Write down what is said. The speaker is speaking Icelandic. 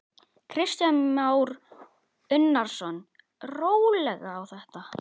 Kristján Már Unnarsson: Rólega á þetta?